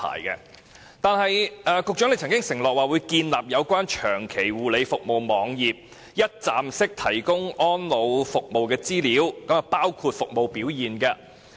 此外，局長曾經承諾，會建立有關長期護理服務網頁，一站式提供安老服務的資料，包括服務表現。